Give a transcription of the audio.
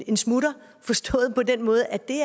en smutter forstået på den måde at det